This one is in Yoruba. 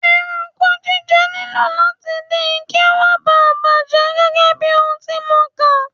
Ẹranko jíjẹ nílò láti din kí ó má bà bàjẹ́ gẹ́gẹ́bí ohun tí mo kà.